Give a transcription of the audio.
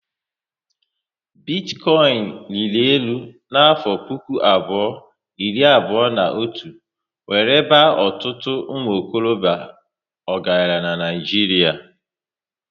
Bitikoinu riri élu na afo puku abụọ iri abụọ na otu wéré baa ọtụtụ umuokorobia ọgaranya n'Naijiria